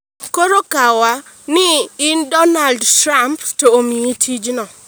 Koro, kaw ni in Donald Trump to omiyi tijno